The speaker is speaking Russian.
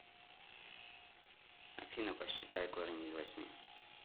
афина посчитай корень из восьми